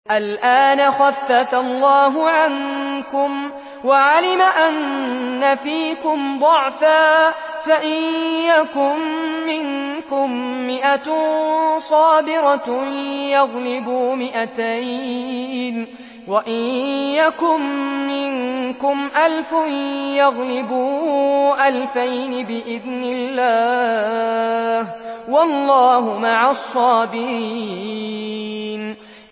الْآنَ خَفَّفَ اللَّهُ عَنكُمْ وَعَلِمَ أَنَّ فِيكُمْ ضَعْفًا ۚ فَإِن يَكُن مِّنكُم مِّائَةٌ صَابِرَةٌ يَغْلِبُوا مِائَتَيْنِ ۚ وَإِن يَكُن مِّنكُمْ أَلْفٌ يَغْلِبُوا أَلْفَيْنِ بِإِذْنِ اللَّهِ ۗ وَاللَّهُ مَعَ الصَّابِرِينَ